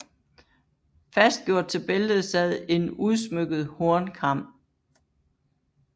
Fastgjort til bæltet sad en udsmykket hornkam